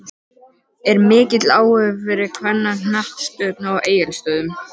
Er mikill áhugi fyrir kvennaknattspyrnu á Egilsstöðum?